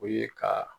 O ye ka